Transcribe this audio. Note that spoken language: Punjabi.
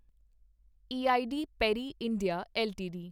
E I D Parry India LTD